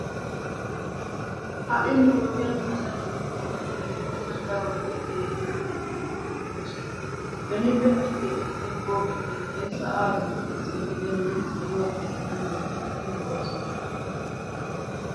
Ha"i nu wodiyan asay beni wode be'ibeenna darobati keehi laamettidabati de'oosona. Benippe ha"i keexettiya pooqe keettay sa'aa duussaassi gidennan saluwa keettaa milatidi lo'oosona.